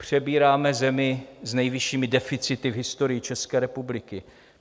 Přebíráme zemi s nejvyššími deficity v historii České republiky.